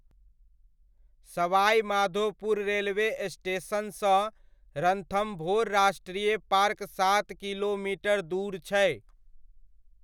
सवाइ माधोपुर रेलवे स्टेशनसँ रणथम्बोर राष्ट्रीय पार्क सात किलोमिटर दूर छै।